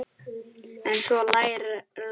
En svo lærir maður.